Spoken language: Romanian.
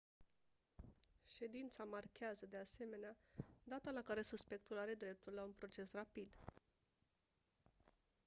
ședința marchează de asemenea data la care suspectul are dreptul la un proces rapid